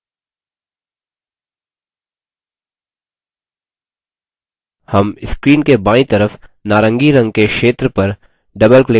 हम screen के बायीं तरफ नारंगी रंग के क्षेत्र पर double क्लिक करके इन भागों को छोटा या बड़ा कर सकते हैं